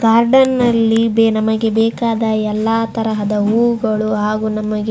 garden ನಲ್ಲಿ ನಮಗೆ ಎಲ್ಲ ತರದ ಹೂವುಗಳು ಹಾಗು ನಮಗೆ --